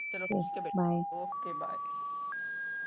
ਚਲੋ okay ਬੇਟਾ bye okay bye